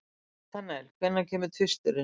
Natanael, hvenær kemur tvisturinn?